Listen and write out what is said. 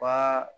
Wa